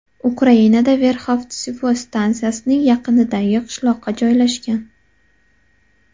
Ukrainada Verxovtsevo stantsiyasining yaqinidagi qishloqqa joylashgan.